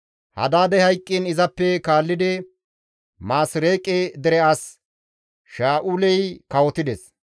Hadaadey hayqqiin izappe kaallidi Maasireeqe dere as Sha7uley kawotides.